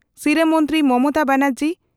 ᱥᱤᱨᱟᱹ ᱢᱚᱱᱛᱨᱤ ᱢᱚᱢᱚᱛᱟ ᱵᱮᱱᱟᱨᱡᱤ